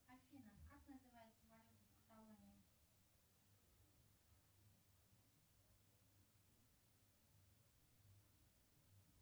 афина как называется валюта в каталонии